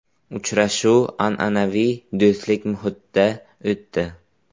Uchrashuv an’anaviy do‘stlik muhitida o‘tdi.